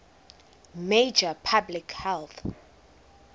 major public health